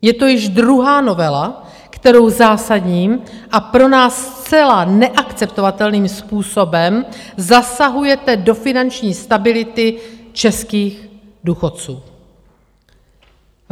Je to již druhá novela, kterou zásadním a pro nás zcela neakceptovatelným způsobem zasahujete do finanční stability českých důchodců.